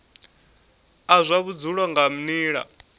a zwa vhudzulo nga nila